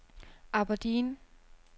Aberdeen